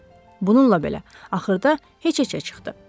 Bununla belə, axırda heç-heçə çıxdı.